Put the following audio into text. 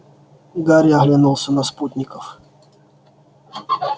гарри оглянулся на спутников